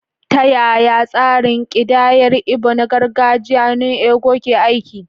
Ta yaya tsarin kidayar Igbo na gargajiya "nnu ego" ke aiki?